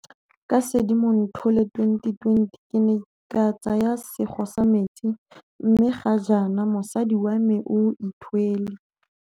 Ka Sedimonthole 2020 ke ne ka tsaya sego sa metsi mme ga jaana mosadi wa me o ithwele.